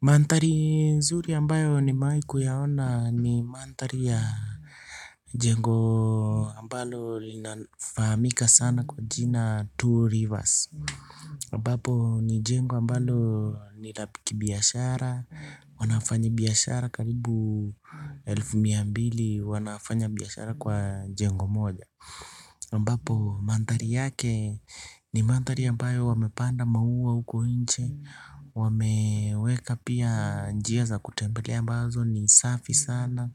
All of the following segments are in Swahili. Maandhari nzuri ambayo nimewahi kuyaona ni maandhari ya jengo ambalo linafahamika sana kwa jina Two Rivers ambapo ni jengo ambalo ni ya kibiashara, wanafanyi biashara karibu elfu mia mbili wanafanya biashara kwa jengo moja. Mbapo maandhari yake ni maandhari ambayo wamepanda maua huko nje, wameweka pia njia za kutembelea mbazo ni safi sana.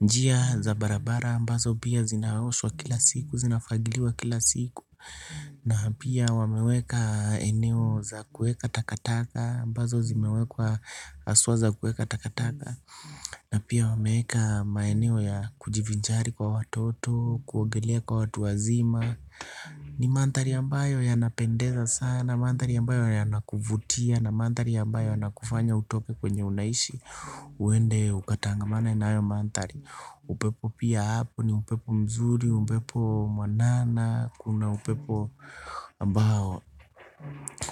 Njia za barabara mbazo pia zinaoshwa kila siku, zinafagiliwa kila siku na pia wameweka eneo za kuweka takataka mbazo zimewekwa haswa za kuweka takataka. Na pia wameweka maeneo ya kujivinjari kwa watoto kuogelea kwa watu wazima. Ni maandhari ambayo yanapendeza sana maandhari ambayo yanakuvutia na maandhari ambayo yanakufanya utoke kwenye unaishi. Uende ukatangamane nayo maandhari. Upepo pia hapo ni upepo mzuri, upepo mwanana. Kuna upepo ambao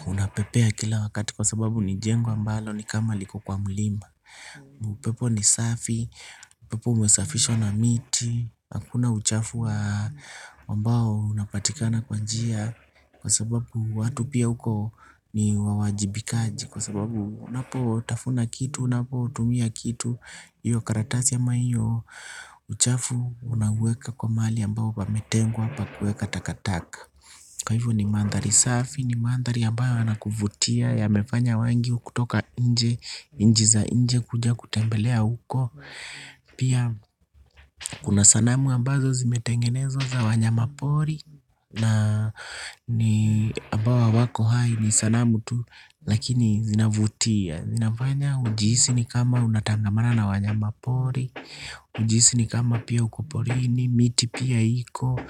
unapepea kila wakati kwa sababu ni jengo mbalo ni kama liko kwa mlima upepo ni safi, upepo umesafishwa na miti, hakuna uchafu ambayo inapatikana kwa njia kwa sababu watu pia huko ni wajibikaji, kwa sababu unapotafuna kitu, unapotumia kitu, hiyo karatasi ama hiyo uchafu unaweka mahali ambao pametengwa pa kuweka takataka. Kwa hivyo ni maandhari safi, ni maandhari ambayo yana kuvutia yamefanya wengi kutoka nje, nchi za nje kuja kutembelea huko pia kuna sanamu ambazo zimetengenezwa za wanyama pori na ni ambao hawako hai ni sanamu tu lakini zinavutia zinafanya ujihisi ni kama unatangamana na wanyama pori, ujihisi ni kama pia uko porini, miti pia iko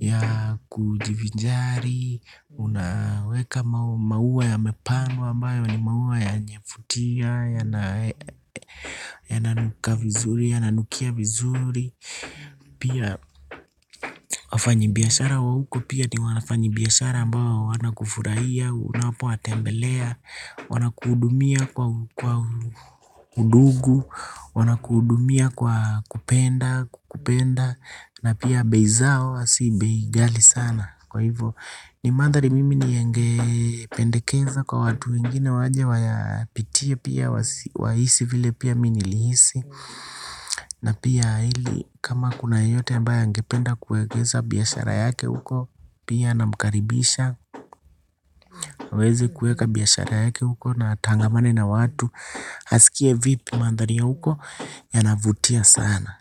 ya kujivinjari, unaweka maua ya mapandwa ambayo ni maua ya kuvutia, yananuka vizuri, ya nanukia vizuri. Pia wafanyabiashara wa huko pia ni wanafanyabiashara mbao wanakufurahia unapo watembelea. Wanakuhudumia kwa undugu wanakuhudumia kwa kupenda kukupenda na pia bei zao sio bei ghali sana kwa hivyo ni maandhari mimi ninge pendekeza kwa watu wengine waje wayapitie pia wahisi vile pia mimi nilihisi. Na pia ili kama kuna yeyote mbaye angependa kuegeza biashara yake huko pia nina mkaribisha aweze kuweka biashara yake huko na akangamane na watu. Asikie vipi maandhari huko yanavutia sana.